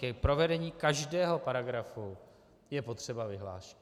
K provedení každého paragrafu je potřeba vyhláška.